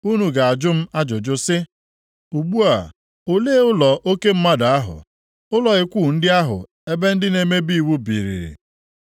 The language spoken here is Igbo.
Unu ga-ajụ m ajụjụ sị, ‘Ugbu a, ole ụlọ oke mmadụ ahụ. Ụlọ ikwu ndị ahụ ebe ndị na-emebi iwu biiri?’